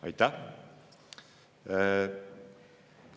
Aitäh!